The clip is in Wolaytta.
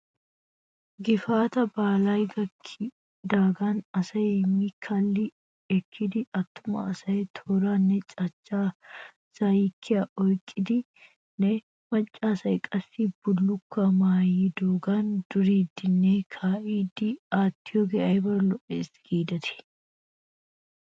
Gifaataa baalay gakkidaagan asay mi kalli ekkidi attuma asay tooraanne cachcha zayyiyaa oyqqiyoogan macca asay qassi bullukkuwaa maayiyoogan duriiddinne kaa'iiddi aattiyoogee ayba lo'es giidetii?